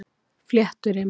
Flétturima